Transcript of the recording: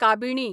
काबिणी